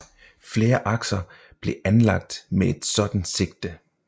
Flere akser blev anlagt med et sådant sigte